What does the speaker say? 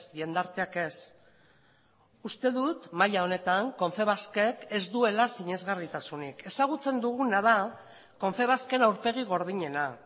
jendarteak ez uste dut maila honetan confebask ek ez duela sinesgarritasunik ezagutzen duguna da confebask en aurpegi gordinena